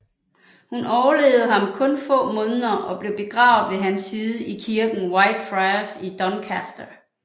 Hun overlevede ham kun få måneder og blev begravet ved hans side i kirken Whitefriars i Doncaster